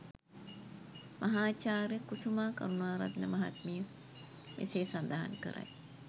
මහාචාර්ය කුසුමා කරුණාරත්න මහත්මිය මෙසේ සඳහන් කරයි.